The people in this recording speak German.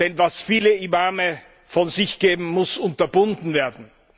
Denn was viele Imame von sich geben, muss unterbunden werden!